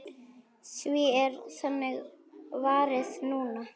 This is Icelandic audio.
Því er þannig varið núna.